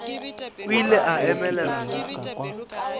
o ile a emelela ka